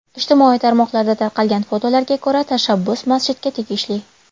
Ijtimoiy tarmoqlarda tarqalgan fotolarga ko‘ra, tashabbus masjidga tegishli.